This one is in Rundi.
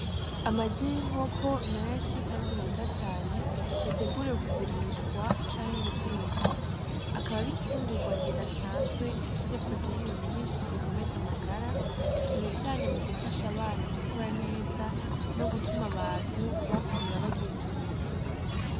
Amagi yinkoko menshi kandi meza cane yateguriwe kugurishwa canke gutekwa akaba ari imfungurwa ridasanzwe rifise poroteyine nyinshi zikomeza amagara cane cane gufasha abana gukura neza no gutuma abantu bakura bagira inkomezi.